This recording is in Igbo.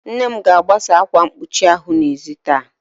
Nne m ga-agbasa ákwà mkpuchi ahụ n'ezi taa.